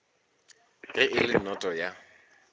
ge e le noto ya